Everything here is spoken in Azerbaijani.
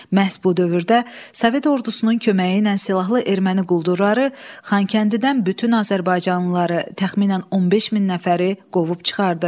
Məhz bu dövrdə Sovet ordusunun köməyi ilə silahlı erməni quldurları Xankəndidən bütün azərbaycanlıları, təxminən 15 min nəfəri qovub çıxardı.